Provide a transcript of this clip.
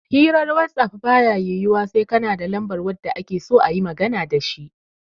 Hirar wasaf baya yiwuwa sai kana da lambar wanda akeso ayima magana dashi